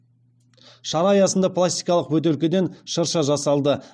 шара аясында пластикалық бөтелкеден шырша жасалды